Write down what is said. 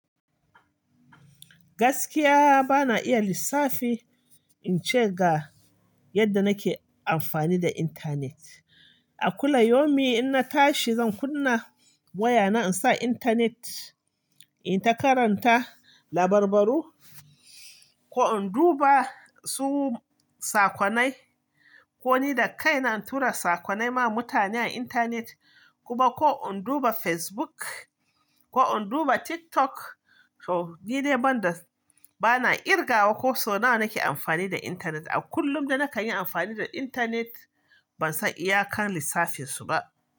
Gaskiya bana iya lissafi in ce ga yadda nake amfani da intanet. A kullayaumi in na tashi zan kunna wayana in sa intanet, in takaranta labarbaru ko in duba su sakonai ko ni da kaina in tura sakonai ma mutane a intanet. Kuma ko in duba Facebook ko in duba TikTok. Toh, ni dai ban da-- bana kirgawa ko so nawa nake amfani da intanet. A kullum da na kan yi amfani da intanet ban san iyakar lissafin su ba.